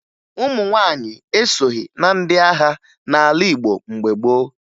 Ụmụ nwaanyị esoghi na ndị agha n'ala Igbo mgbe gboo